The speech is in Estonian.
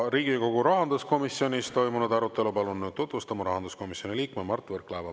Riigikogu rahanduskomisjonis toimunud arutelu palun nüüd tutvustama rahanduskomisjoni liikme Mart Võrklaeva.